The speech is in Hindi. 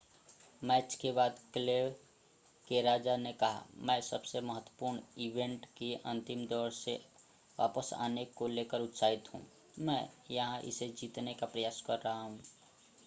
मैच के बाद क्ले के राजा ने कहा मैं सबसे महत्वपूर्ण इवेंट के अंतिम दौर में वापस आने को लेकर उत्साहित हूं मैं यहां इसे जीतने का प्रयास कर रहा हूं